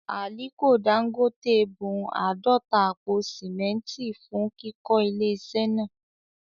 Àliko Dangote bun àádọ́ta àpò sìmẹ́ntì fún kíkọ́ ilé iṣẹ́ náà